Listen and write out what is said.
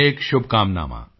ਅਨੇਕ ਸ਼ੁਭਕਾਮਨਾਵਾਂ